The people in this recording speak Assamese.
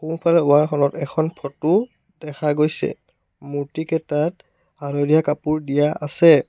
সোঁফালে ৱাল খনত এখন ফটো দেখা গৈছে মূৰ্তিকেইটাত হালধীয়া কাপোৰ দিয়া আছে।